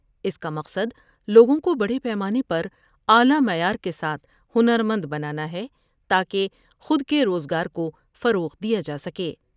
اس کا مقصد لوگوں کو بڑے پیمانے پر اعلی معیار کے ساتھ ہنرمند بنانا ہے تا کہ خود کے روز گارکوفروغ دیا جا سکے ۔